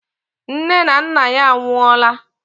Nne na nna ya anwụọ laa.